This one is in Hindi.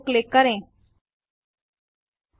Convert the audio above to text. आगे सर्च बार के बाहर पेज पर कहीं भी कर्सर को क्लिक करें